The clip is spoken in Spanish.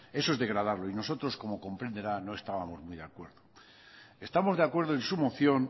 eso es degradarlo y nosotros como comprenderá no estábamos muy de acuerdo estamos de acuerdo en su moción